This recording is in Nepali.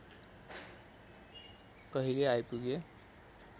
कहिले आइपुगे